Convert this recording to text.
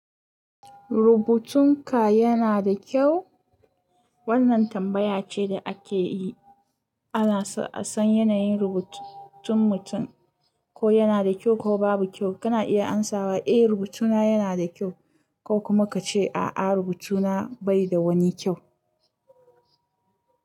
Rubutun ka yana da kyau? Wannan tambaya ce da ake yi ana son a san yanayin rubutun mutum, ko yana da kyau ko babu kyau. Kana iya amsawa eh rubutuna yana da kyau ko kuma ka ce a'a rubutuna bai da wani kyau.